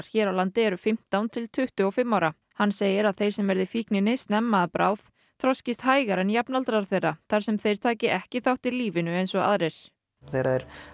hér á landi eru fimmtán til tuttugu og fimm ára hann segir að þeir sem verði fíkninni snemma að bráð þroskist hægar en jafnaldrar þeirra þar sem þeir taki ekki þátt í lífinu eins og aðrir þegar þeir